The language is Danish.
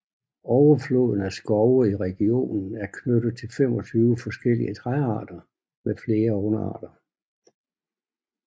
Overfloden af skove i regionen er knyttet til 25 forskellige træarter med flere underarter